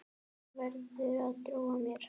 Þú verður að trúa mér.